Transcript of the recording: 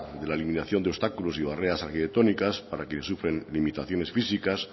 de la eliminación de obstáculos y barreras arquitectónicas para quienes sufren limitaciones físicas